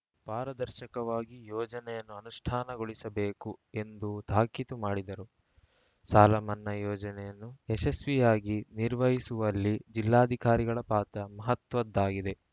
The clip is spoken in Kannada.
ಪಾರದರ್ಶಕವಾಗಿ ಯೋಜನೆಯನ್ನು ಅನುಷ್ಠಾನಗೊಳಿಸಬೇಕು ಎಂದು ತಾಕೀತು ಮಾಡಿದರು ಸಾಲಮನ್ನಾ ಯೋಜನೆಯನ್ನು ಯಶಸ್ವಿಯಾಗಿ ನಿರ್ವಹಿಸುವಲ್ಲಿ ಜಿಲ್ಲಾಧಿಕಾರಿಗಳ ಪಾತ್ರ ಮಹತ್ವದ್ದಾಗಿದೆ